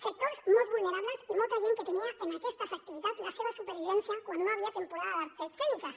sectors molt vulnerables i molta gent que tenia en aquestes activitats la seva supervivència quan no hi havia temporada d’arts escèniques